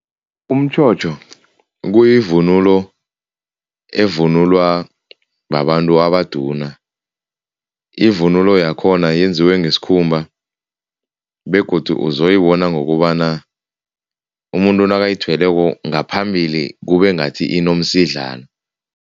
Umtjhotjho kuyivunulo evunulwa babantu abaduna. Ivunulo yakhona yenziwe ngesikhumba begodu uzoyibona ngokobana umuntu nakayithweleko ngaphambili kube ngathi inomsidlana.